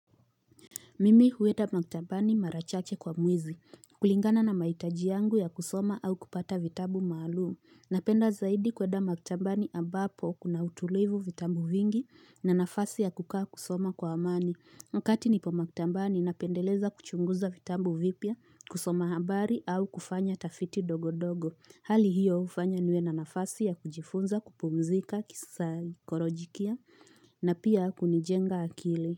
Mimi huwenda maktambani mara chache kwa mwezi, kulingana na mahitaji yangu ya kusoma au kupata vitabu maalumu. Napenda zaidi kuenda maktambani abapo kuna utulivu vitabu vingi na nafasi ya kukaa kusoma kwa amani. Wakati nipo maktambani napendeleza kuchunguza vitabu vipya, kusoma habari au kufanya tafiti dogodogo. Hali hiyo ufanya niwe na nafasi ya kujifunza kupumzika kisai korojikia na pia kunijenga akili.